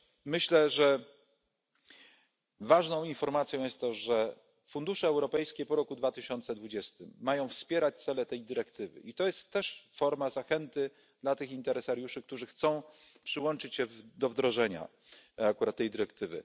Myślę, że ważną informacją jest to, że fundusze europejskie po roku 2020 mają wspierać cele tej dyrektywy, i to jest też forma zachęty dla tych interesariuszy, którzy chcą przyłączyć się do wdrożenia akurat tej dyrektywy.